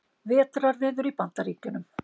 Vetrarveður í Bandaríkjunum